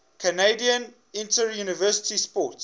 canadian interuniversity sport